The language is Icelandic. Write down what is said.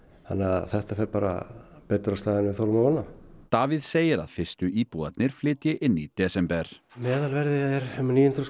þannig að þetta fer bara betur af stað en við þorðum að vona Davíð segir að fyrstu íbúarnir flytji inn í desember meðalverð er um níu hundruð